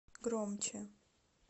громче